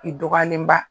I dɔgɔyalenba